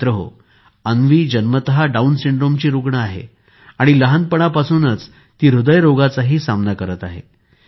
मित्रांनो अन्वी जन्मतःच डाऊन सिंड्रोमची रुग्ण आहे आणि लहानपणापासूनच ती हृदयरोगाचा सामना करत आहे